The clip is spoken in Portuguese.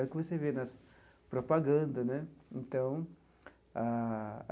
É o que você vê nas propaganda né então ah.